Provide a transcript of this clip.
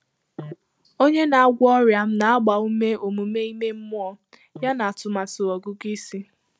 Ọ́nyé nà-àgwọ́ ọ́rị́à m nà-àgbá úmé ọ́mụ́mé ímé mmụ́ọ́ yànà àtụ́màtụ́ ọ́gụ́gụ́ ísí.